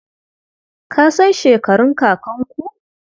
Ka san shekarun kakanku?